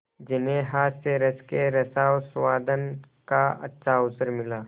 जिन्हें हास्यरस के रसास्वादन का अच्छा अवसर मिला